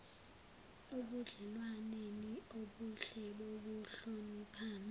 ebudlelwaneni obuhle bokuhloniphana